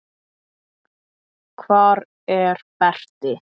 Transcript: Hvar er Berti?